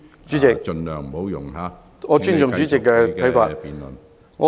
主席，我尊重主席的看法。